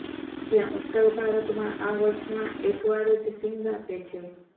ત્યાં ઉત્તર ભારતમાં આ વર્ષમાં એક વારજ સીંગ આપે છે